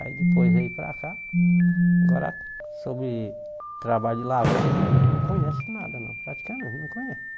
Aí depois veio para cá, agora sobre trabalho de lavoura eles não não conhecem nada não, praticamente não conhecem.